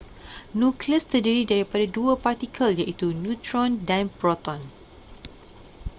nukleus terdiri daripada dua partikel iaitu neutron dan proton